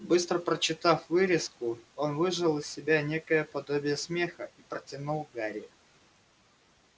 быстро прочитав вырезку он выжал из себя некое подобие смеха и протянул гарри